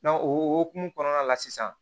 o hokumu kɔnɔna la sisan